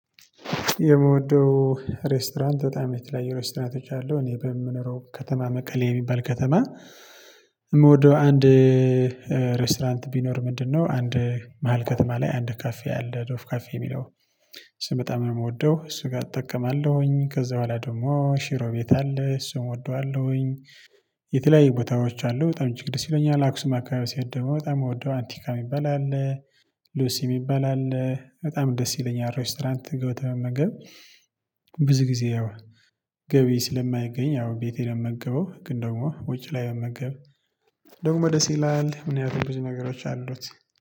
የምወደው ሬስቶራንት በጣም የተለያየ ሬስቶራንት አለው እኔ በምኖረው ከተማ መቀሌ የሚባል ከተማ። የምወደው አንድ ሬስቶራንት ቢኖር ምንድነው? አንድ መሃል ከተማ ላይ አንድ ካፌ አለ ዶፍ ካፌ የሚለው እሱን በጣም የምወደው እሱ ጋር እጠቀማለሁኝ ከዛ በኋላ ደግሞ ሽሮ ቤት አለ እሱን እወደዋለሁኝ። የተለያዩ ቦታዎች አሉ በጣም እጅግ ደስ ይለኛል። አላክሱም አካባቢ ስሄድ ደግሞ በጣም የምወደው አንቲካ የሚባል አለ። ሉሲ የሚባል አለ በጣም ደስ ይለኛል። ሬስቶራንት ገብቶ መመገብ። ብዙ ጊዜ ያው ገቢ ስለማይገኝ ያው ቤቴ ነው የምገበው ግን ደግሞ ወጪ ላይ መመገብ ደሞ ይላል። ምን ያህል ብዙ ነገሮች አሉት።